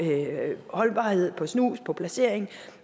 holdbarhed på snus på placering